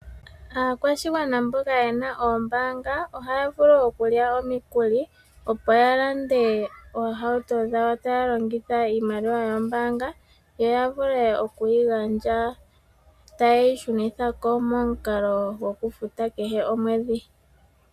Aakwashigwana mboka yena oombaanga ohaya vulu okulya omikuli opo ya lande oohauto dhawo taya longitha iimaliwa yombaanga yo ya vule okuyigandja taye yi shunithako momukalo gwokufuta kehe omwedhi.